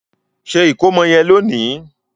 Ṣe ikomo yen lóni!